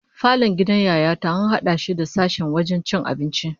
Falon gidan Yaya ta an hada shi da sashen wajen cin abinci